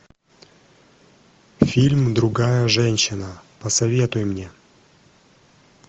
фильм другая женщина посоветуй мне